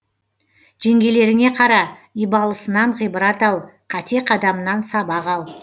жеңгелеріңе қара ибалысынан ғибрат ал қате қадамынан сабақ ал